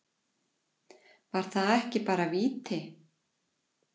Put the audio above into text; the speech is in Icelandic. Var það ekki bara víti?